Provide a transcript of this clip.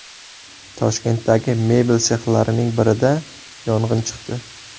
Toshkentdagi mebel sexlarining birida yong‘in chiqdi.